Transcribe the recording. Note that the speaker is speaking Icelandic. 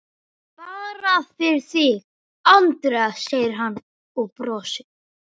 Bara fyrir þig, Andrea, segir hann og brosir.